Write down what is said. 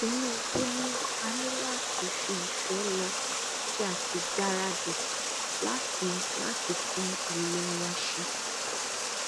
tinúbú ni a ní láti fi ìfẹ lọ kí a sì gbáradì láti láti tún ilé wa ṣe